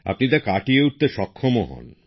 আপনি তা কাটিয়ে উঠতে সক্ষম হন